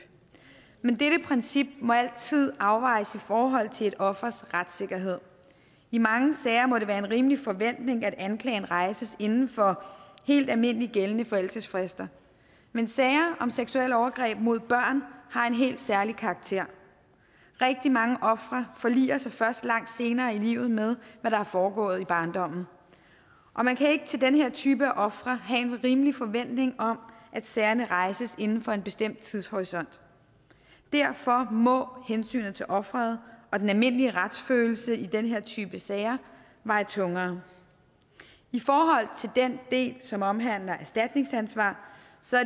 men dette princip må altid afvejes i forhold til et offers retssikkerhed i mange sager må det være en rimelig forventning at anklagen rejses inden for helt almindeligt gældende forældelsesfrister men sager om seksuelle overgreb mod børn har en helt særlig karakter rigtig mange ofre forliger sig først langt senere i livet med hvad der er foregået i barndommen og man kan ikke til den her type af ofre have en rimelig forventning om at sagerne rejses inden for en bestemt tidshorisont derfor må hensynet til offeret og den almindelige retsfølelse i den her type sager veje tungere i forhold til den del som omhandler erstatningsansvar